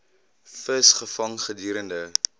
vis gevang gedurende